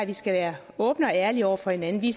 vi skal være åbne og ærlige over for hinanden vi